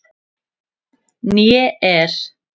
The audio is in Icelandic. Né er